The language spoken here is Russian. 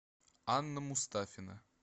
анна мустафина